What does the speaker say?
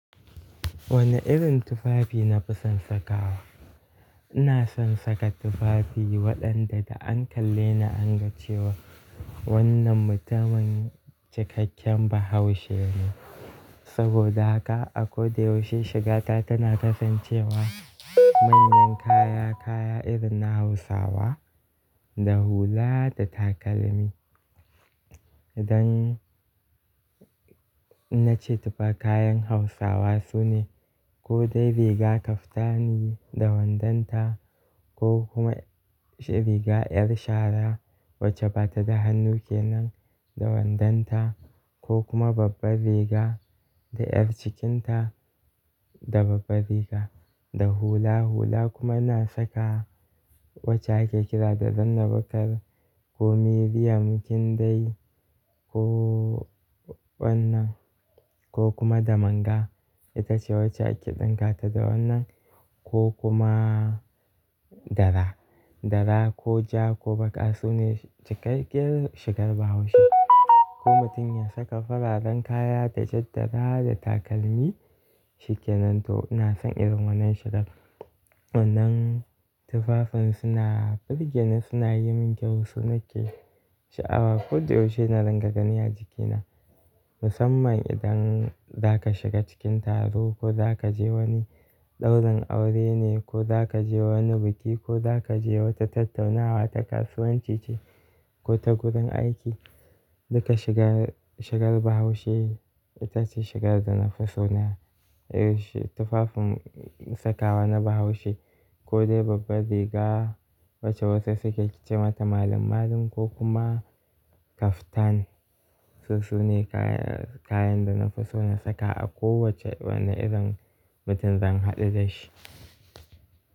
Wane irin tufafi na fi son saka wa? Ina son saka tufafi waɗanda da an kalle ni an ga cewa wannan mutumin cikakken Bahaushe ne. Saboda haka a ko da yaushe shigata tana kasancewa manyan kaya-kaya irin na Hausawa da hula da takalmi. Idan na ce tufa kayan Hausawa su ne ko dai riga kaftani da wandanta ko kuma riga 'yar shara wacce ba ta da hannu kenan da wandanta ko kuma babbar riga da 'yar cikinta da babbar riga da hula. Hula kuma na saka wacce ake kira da zanna bakar ko miriya kin dai ko wannan ko kuma da manga. Ita ce wacce ake ɗinka ta da wannan ko kuma dara. Dara ko ja ko baƙa su ne cikakken shigar Bahaushe. Ko mutum ya saka fararen kaya da jadara da takalmi shikenan to ina son irin wannan shigar. Wannan tufafin suna burge ni, suna yi min kyau, su nake sha'awa ko da yaushe na ringa ganin a jikina musamman idan zaka shiga cikin taro ko zaka je wani ɗaurin aure ne ko zaka je wani biki ko zaka je wata tattaunawa ta kasuwanci ce ko ta gurin aiki. Duka shigar, shigar Bahaushe ita ce shigar da na fi so na. Tufafin sakawa na Bahaushe ko dai babbar riga wacce wasu suke ce mata malam-malam ko kuma kaftan. Toh su ne kayan, kayan da na fi so na saka a kowace wane irin mutum zan haɗu da shi.